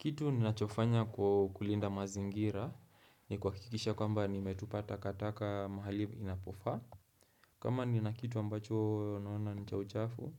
Kitu ninachofanya ku kulinda mazingira ni kuhakikisha kwamba nimetupa takataka mahali inapofa. Kama nina kitu ambacho naona ni cha uchafu,